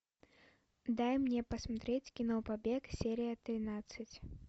дай мне посмотреть кино побег серия тринадцать